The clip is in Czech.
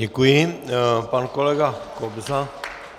Děkuji, pan kolega Kobza